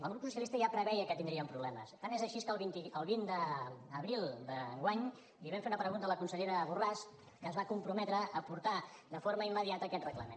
el grup socialista ja preveia que tindríem problemes tant és així que el vint d’abril d’enguany li vam fer una pregunta a la consellera borràs que es va comprometre a portar de forma immediata aquest reglament